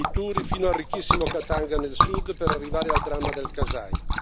Violenze assurde e diritti umani calpestati che reclamano verità.